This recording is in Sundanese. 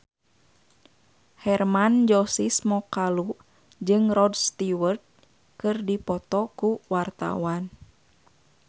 Hermann Josis Mokalu jeung Rod Stewart keur dipoto ku wartawan